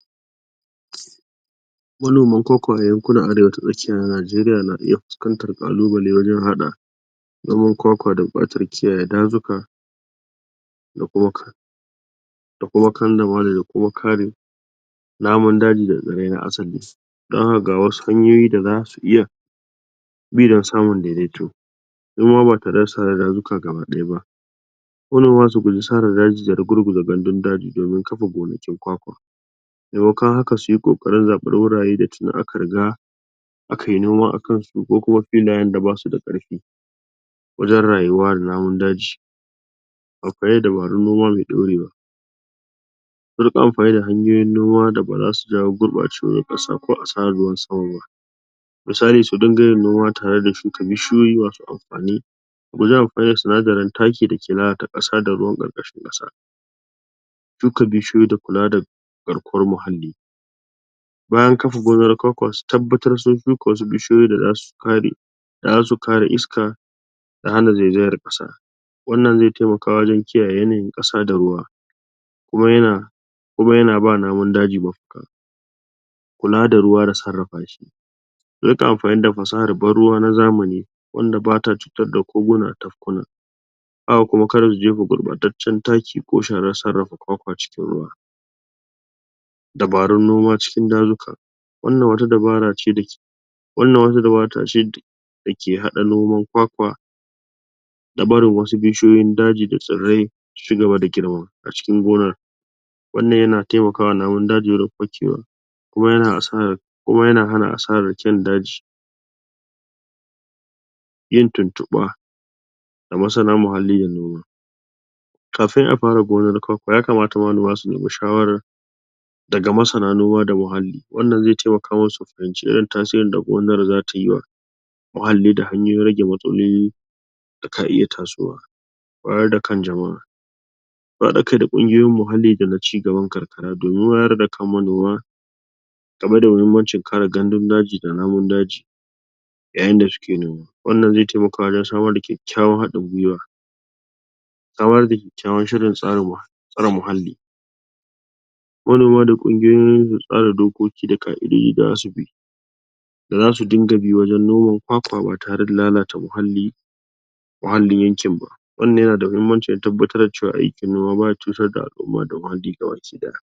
Manoman kwakwa a yankunan arewa ta tsakiya na Najeriya na iya fuskantar ƙalubale wajen haɗa noman kwakwa da buƙatar kiyaye dazuka? da kuma kandamale da kuma ka re namun daji da tsirrai na asali Don haka ga wasu hanyoyi da za su iya bi domin samun daidaito idan ma ba tare da sare dazuka gaba ɗaya ba. Manoma su guji sare daji da rugurguza gandun daji domin kafa gonakin kwakwa, maimakon haka suyi ƙoƙari wajen zaɓar wurare da tuni a ka riga a kayi noma a kan su ko kuma filayen da ba su da karfi wajen rayuwa da namun daji. Akwai dabarun noma mai ɗaurewa su riƙaamfani da hanyoyin noma da ba zasu jawo gurɓacewar ƙasa ko asarar ruwan sama ba. Misali; su dinga yin noma tare da shuka bishiyoyi masu amfani wajen amfani da sinadarin taki da yake lalata ƙasa da ruwan ƙarƙashin ƙasa. Shuka bishiyoyi da kula da garkuwar muhalli. Bayan kafa gonar kwakwa su tabbatar sun kafa wasu bishiyoyi da za su ka re iska, da hana zaizayar ƙasa. Wannan zai taimaka wajen kiyaye yanayin ƙasa da ruwa, kuma yana ba namun daji mafaka Kula da ruwa da sarrafa shi: a rin ƙa amfani da fasahar ban ruwa na zamani wanda ba ta cutar da koguna da tafkuna. Haka kuma kar su je fa gurɓataccen taki ko shara, sarrafa kwakwa cikin ruwa. Dabarun noma cikin dazuka: wannan wata dabara ce da ke? da ke haɗa noman kwakwa da barin wasu namun daji da tsirrai su ci gaba da girma a cikin gonar. Wannan yana taimakawa namun daji wurin fakewa,? kuma yana hana asarar kyan daji. Yin tuntuɓa ga masana muhalli da noma kafin a fara gonar kwakwa, ya kamata manoma su ne mi shawarar daga masana noma da muhalli, wannan zai taimaka musu su fahimci irin tasirin da gonar za tayi wa muhalli, da hanyoyin rage matsaloli da ka iya tasowa. Wayar da kan jamaʼa: haɗa kai da kungiyoyin muhalli da na ci gaban karkara domin wayar da kan manoma ,game da muhimmanci ka re gandun daji da namun daji yayin da su ke noma. Wannan zai taimaka wajen samar da kyakkyawan haɗin gwuiwa. Samar da kyakkyawar shirin tsare muhalli Manoma da kungiyoyin tsare dokoki da kaʼidodi? da za su dinga bi wajen noman kwakwa ba tare da lalata muhallin yankin ba. Wannan yana da muhimmanci wajen tabbatar da cewa aikin noma ba ya cutar da alʼumma da muhalli gabaki ɗaya.